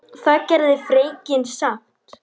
Það gerði fregnin samt.